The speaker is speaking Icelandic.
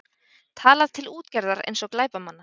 Talað til útgerðar eins og glæpamanna